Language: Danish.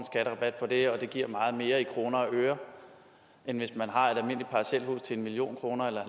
det giver meget mere i kroner og øre end hvis man har et almindeligt parcelhus til en million kroner eller